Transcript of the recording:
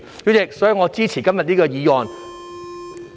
代理主席，我支持今天這項議案。